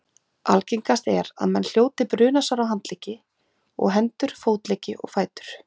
Algengast er að menn hljóti brunasár á handleggi og hendur, fótleggi og fætur.